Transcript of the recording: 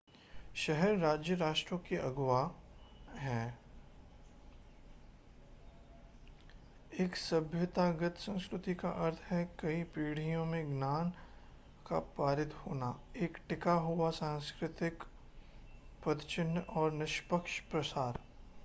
शहर-राज्य राष्ट्रों के अगुआ हैं एक सभ्यतागत संस्कृति का अर्थ है कई पीढ़ियों में ज्ञान का पारित होना एक टिका हुआ सांस्कृतिक पदचिह्न और निष्पक्ष प्रसार